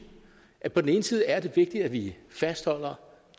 at på den ene side er det vigtigt at vi fastholder